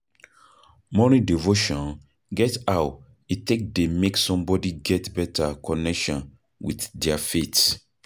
Morning devotion get how e take dey make somebody get better connection with their faith